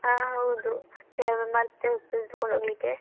ಹಾ ಹೌದು ಕೆಲವೊಮ್ಮೆ ಮರ್ತೆ ಹೊಕ್ತದೆ ತೆಕೊಂಡ್ ಹೋಗ್ಲಿಕ್ಕೆ.